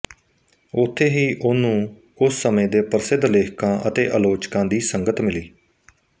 ਉੱਥੇ ਹੀ ਉਹ ਨੂੰ ਉਸ ਸਮੇਂ ਦੇ ਪ੍ਰਸਿੱਧ ਲੇਖਕਾਂ ਅਤੇ ਆਲੋਚਕਾਂ ਦੀ ਸੰਗਤ ਮਿਲੀ